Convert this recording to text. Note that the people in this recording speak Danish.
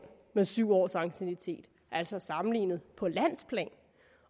med syv års anciennitet altså sammenlignet på landsplan